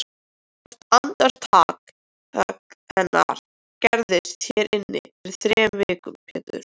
Hvert andartak hennar gerðist hér inni fyrir þremur vikum Pétur.